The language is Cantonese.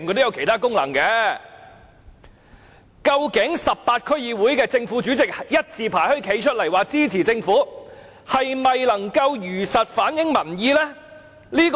究竟18區區議會的正、副主席一字排開站出來支持政府時，這是否如實反映民意呢？